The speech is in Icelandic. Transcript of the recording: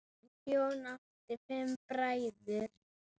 Jón átti fimm bræður.